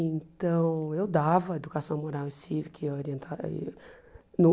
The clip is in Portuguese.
Então, eu dava educação moral e cívica e orienta e no.